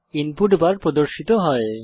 input bar প্রদর্শিত হয়